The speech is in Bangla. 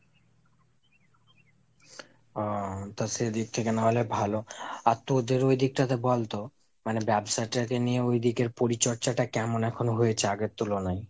ও তা সেদিক থেকে নাহলে ভালো। আর তোদের ওদিক টাতে বলতো মানে ব্যবসাটাকে নিয়ে ওদিকের পরিচর্চাটা এখন কেমন হয়েছে আগের তুলনায়?